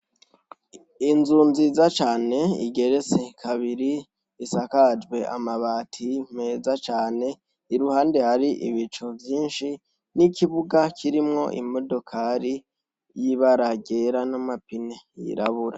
Inzu nziza cane igeretse kabiri isakajwe amabati meza cane iruhande hari ibicu vyinshi n'ikibuga kirimwo imodokari y'ibara ryera n'amapine yirabura.